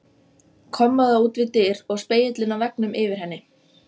Kommóða út við dyr og spegillinn á veggnum yfir henni.